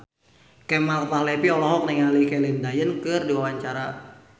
Kemal Palevi olohok ningali Celine Dion keur diwawancara